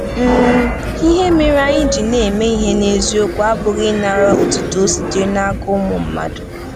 um Ihe mere anyị ji na-eme ihe n’eziokwu abụghị ịnara otuto sitere n’aka ụmụ mmadụ.